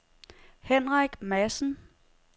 Henrik Madsen